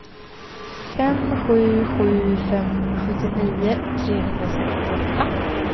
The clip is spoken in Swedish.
fem sju sju fem sjuttionio trehundrasextioåtta